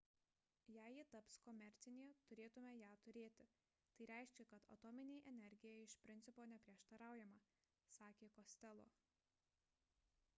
jei ji taps komercinė turėtume ją turėti tai reiškia kad atominei energijai iš principo neprieštaraujama – sakė costello